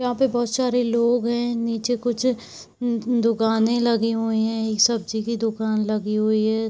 वहाँ पर बहुत सारे लोग है। नीचे कुछ दु दुकानें लगी हुई है। सब्जी की दुकान लगी हुई है।